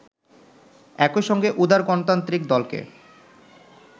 একইসঙ্গে উদার গণতান্ত্রিক দলকে